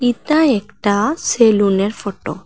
ইতা একটা সেলুনের ফটো ।